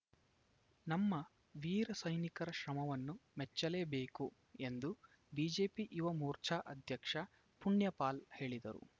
ನಮ್ಮ ವೀರ ಸೈನಿಕರ ಶ್ರಮವನ್ನು ಮೆಚ್ಚಲೇಬೇಕು ಎಂದು ಬಿಜೆಪಿ ಯುವ ಮೋರ್ಚಾ ಅಧ್ಯಕ್ಷ ಪುಣ್ಯಪಾಲ್‌ ಹೇಳಿದರು